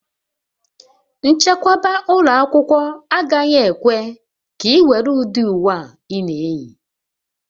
Nchekwa ụlọ akwụkwọ agaghị ekwe ka ị were ụdị uwe a ị na-eyi